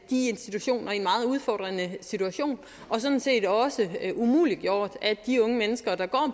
de institutioner i en meget udfordret situation og sådan set også umuliggjort at de unge mennesker der går